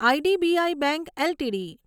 IDBI bank LTD